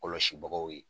Kɔlɔsibagaw ye